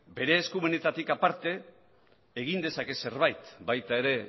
bere eskumenetatik aparte egin dezaket zerbait baita ere